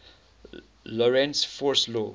lorentz force law